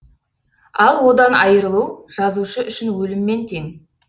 ал одан айырылу жазушы үшін өліммен тең